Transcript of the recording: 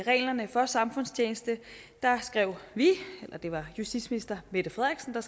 reglerne for samfundstjeneste skrev vi eller det var justitsminister mette frederiksen